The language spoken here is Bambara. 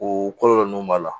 O kɔlɔlɔ ninnu b'a la